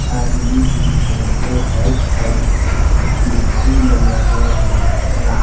आदमी भी हैं और राइट साइड कुर्सी लगाया हुआ है